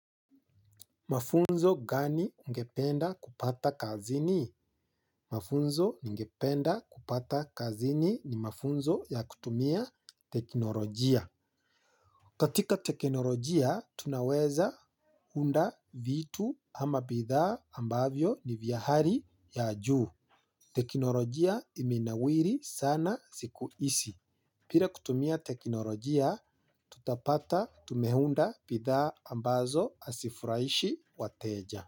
Mafunzo gani ungependa kupata kazini? Mafunzo ungependa kupata kazini ni mafunzo ya kutumia teknolojia. Katika teknolojia, tunaweza unda vitu ama bidhaa ambavyo ni vya hali ya juu. Teknolojia imenawiri sana siku hizi. Bila kutumia teknolojia, tutapata tume unda bidhaa ambazo hazifurahishi wateja.